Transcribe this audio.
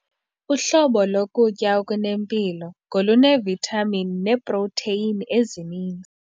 Uhlobo lokutya okunempilo ngoluneevithamini neeprotheyini ezininzi.